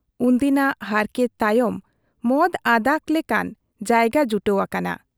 ᱩᱱᱫᱤᱱᱟᱜ ᱦᱟᱨᱠᱮᱛ ᱛᱟᱭᱚᱢ ᱢᱚᱫ ᱟᱫᱟᱜ ᱞᱮᱠᱟᱱ ᱡᱟᱭᱜᱟ ᱡᱩᱴᱟᱹᱣ ᱟᱠᱟᱱᱟ ᱾